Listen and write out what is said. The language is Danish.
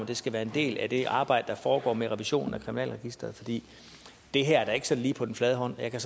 det skal være en del af det arbejde der foregår med revisionen af kriminalregisteret fordi det her er da ikke sådan lige på den flade hånd jeg kan